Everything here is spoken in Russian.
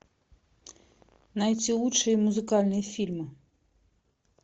найти лучшие музыкальные фильмы